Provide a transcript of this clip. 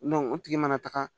o tigi mana taga